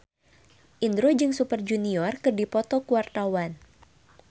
Indro jeung Super Junior keur dipoto ku wartawan